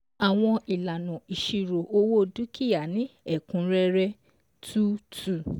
ÀWỌN ÌLÀNÀ ÌṢIRÒ OWÓ DÚKÌÁ NÍ Ẹ̀KÚNRẸ́RẸ́ two two